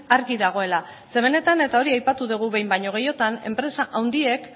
argi dagoela ze benetan eta hori aipatu degu behin baino gehiotan enpresa handiek